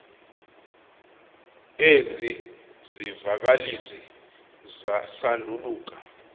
ezi zivakalisi sanduluka